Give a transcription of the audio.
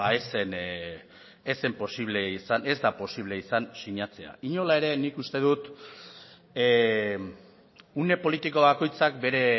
beno ba ez zen posible izan ez da posible izan sinatzea inola ere nik uste dut une politiko bakoitzak bere